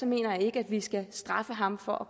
mener jeg ikke at vi skal straffe ham for